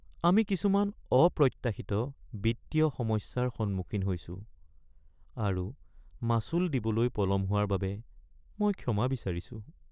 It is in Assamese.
আমি কিছুমান অপ্ৰত্যাশিত বিত্তীয় সমস্যাৰ সন্মুখীন হৈছোঁ আৰু মাচুল দিবলৈ পলম হোৱাৰ বাবে মই ক্ষমা বিচাৰিছোঁ।